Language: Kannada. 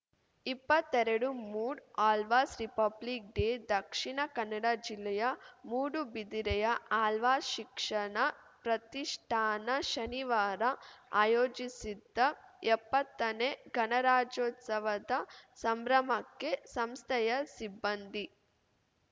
ಇಪ್ಪತ್ತೆರಡು ಮೂಡ್‌ ಆಳ್ವಾಸ್‌ ರಿಪಬ್ಲಿಕ್‌ ಡೇ ದಕ್ಷಿಣ ಕನ್ನಡ ಜಿಲ್ಲೆಯ ಮೂಡುಬಿದಿರೆಯ ಆಳ್ವಾಸ್‌ ಶಿಕ್ಷಣ ಪ್ರತಿಷ್ಠಾನ ಶನಿವಾರ ಆಯೋಜಿಸಿದ್ದ ಎಪ್ಪತ್ತನೇ ಗಣರಾಜ್ಯೋತ್ಸವದ ಸಂಭ್ರಮಕ್ಕೆ ಸಂಸ್ಥೆಯ ಸಿಬ್ಬಂದಿ